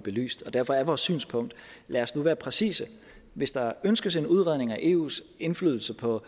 belyst derfor er vores synspunkt lad os nu være præcise hvis der ønskes en udredning af eus indflydelse på